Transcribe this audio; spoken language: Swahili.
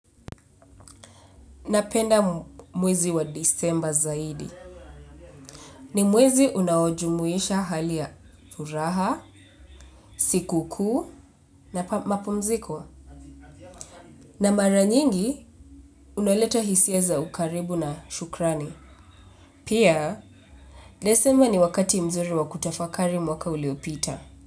Napenda mwezi wa disemba(mwezi wa kumi na mbili) zaidi. Ni mwezi unaojumuisha hali ya furaha, sikukuu, na mapumziko. Na mara nyingi unaleta hisia za ukaribu na shukrani. Pia, desemba ni wakati mzuri wa kutafakari mwaka uliopita.